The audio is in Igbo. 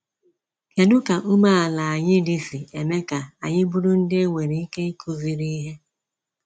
Kedụ ka umeala anyị dị sị eme ka anyị bụrụ ndị e nwere ike ikuziri ihe?